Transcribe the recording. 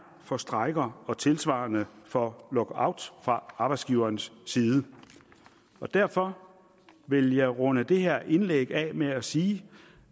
for strejker og tilsvarende for lockout fra arbejdsgiverens side derfor vil jeg runde det her indlæg af med at sige